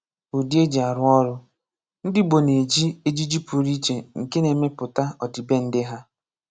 Udi e ji arụ ọrụ: Ndị Igbo na-eji ejiji pụrụ iche nke na-emepụta ọdịbendị ha.